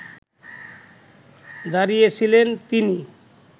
দাঁড়িয়ে ছিলেন তিনি